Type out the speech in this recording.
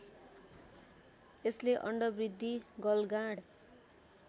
यसले अण्डवृद्धि गलगाँड